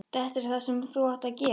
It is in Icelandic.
Þetta er það sem þú átt að gera.